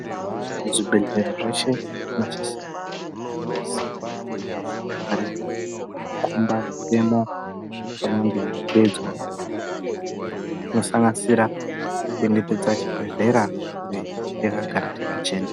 Muzvibhedhlera zveshe, zvinosisirwa kuzi munge munewo zvikwangwani zvinokhomba mitemo inonge yeiteedzwa pachibhedhlera inosanganisira kuremekedza chibhedhlera uye chakagara chakachena.